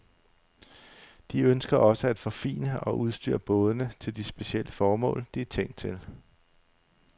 De ønsker også at forfine og udstyre bådene til de specielle formål, de er tænkt til.